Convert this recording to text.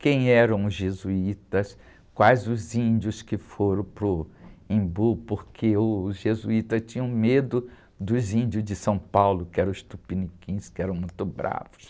Quem eram os jesuítas, quais os índios que foram para o Embu, porque os jesuítas tinham medo dos índios de São Paulo, que eram os tupiniquins, que eram muito bravos.